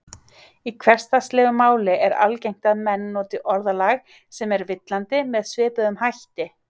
Í hversdagslegu máli er algengt að menn noti orðalag sem er villandi með svipuðum hætti.